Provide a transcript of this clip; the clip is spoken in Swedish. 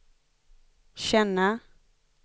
känna